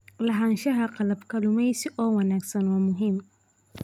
Lahaanshaha qalab kalluumeysi oo wanaagsan waa muhiim.